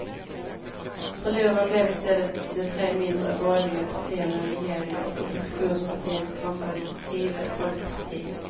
Förlorare blev i stället de tre mindre borgerliga partierna i regeringen och oppositionspartiet konservative folkeparti.